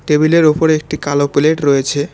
Table -এর ওপরে একটি কালো প্লেট রয়েছে।